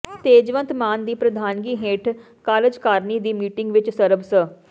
ਤੇਜਵੰਤ ਮਾਨ ਦੀ ਪ੍ਰਧਾਨਗੀ ਹੇਠ ਕਾਰਜਕਾਰਨੀ ਦੀ ਮੀਟਿੰਗ ਵਿੱਚ ਸਰਬ ਸ